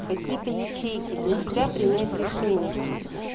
какие-то ячейки для себя принять решение что